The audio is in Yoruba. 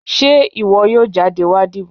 ṣe iwọ yọọ jadé wa dibò